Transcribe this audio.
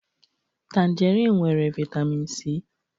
Tanjerịn nwere vitamịn Si.